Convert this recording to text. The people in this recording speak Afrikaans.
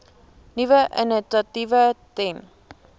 nuwe initiatiewe ten